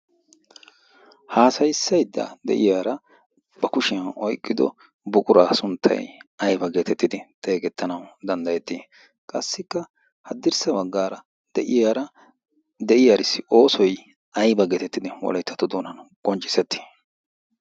Hassaysayda de'iyaara ba kushiyaan oyqqido buqura sunttay aybba getettidi xeegetanaw danddayeeti? Qassikka haddirssa baggaara de'iyara de'iyaarissi oosoy aybba getettidi Wolayttatto doonan qonccisseti?